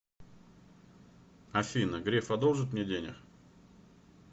афина греф одолжит мне денег